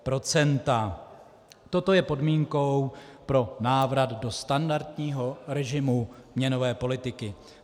Toto je podmínkou pro návrat do standardního režimu měnové politiky.